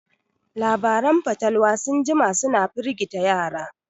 Labaran fatalwa sun jima suna firgita yara